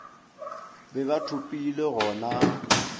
be ba thopilwe go na